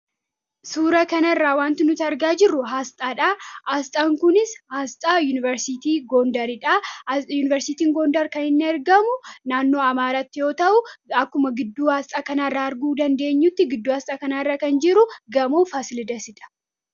suura kana irraa wanti nuti argaa jirru asxaadha asxaan kunis aasxaa yuuniversitii goondariidhaa yuuniversitii goondar kan hin ergamu naannoo amaaratti yoo ta'u akkuma gidduu haasxaa kanaairraa arguu dandeenyutti gidduu haasxaa kanaa irraa kan jiru gamoo faasilidasidha